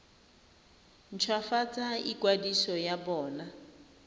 nt hwafatse ikwadiso ya bona